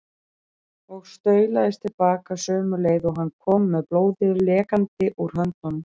Og staulaðist til baka sömu leið og hann kom með blóðið lekandi úr höndunum.